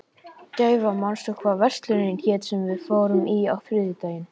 Gæfa, manstu hvað verslunin hét sem við fórum í á þriðjudaginn?